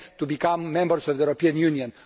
become members of the European Union.